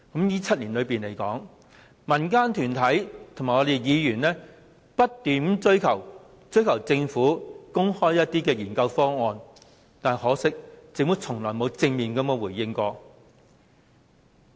在這7年間，民間團體和議員不斷要求政府公開研究方案，但很可惜，政府從沒有正面回應。